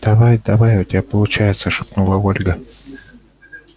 давай давай у тебя получается шепнула ольга